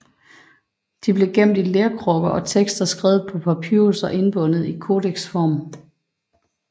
De blev gemt i lerkrukker og tekster skrevet på papyrus og indbundet i kodeksform